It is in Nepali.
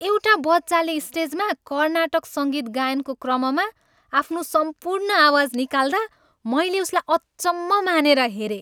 एउटा बच्चाले स्टेजमा कर्नाटक सङ्गीत गायनको क्रममा आफ्नो सम्पूर्ण आवाज निकाल्दा मैले उसलाई अचम्म मानेर हेरेँ।